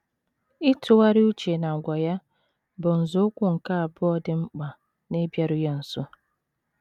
Ịtụgharị uche n’àgwà ya bụ nzọụkwụ nke abụọ dị mkpa n’ịbịaru ya nso.